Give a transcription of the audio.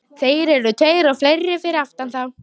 Þeir eru tveir og fleiri fyrir aftan þá.